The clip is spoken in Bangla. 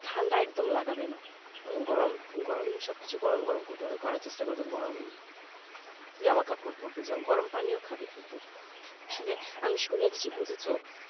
ঠান্ডা একদম লাগাবেনা গরম গরম কিছু করার চেষ্টা করবে জামা কাপড় পড়বে গরম পানি খাবে কিন্তুও আমি শুনিছি বুঝেছো